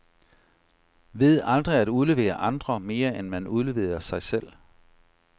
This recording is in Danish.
Ved aldrig at udlevere andre, mere end man udleverer sig selv.